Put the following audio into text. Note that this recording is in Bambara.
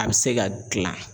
A bɛ se ka gilan.